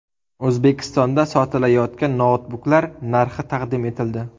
O‘zbekistonda sotilayotgan noutbuklar narxi taqdim etildi.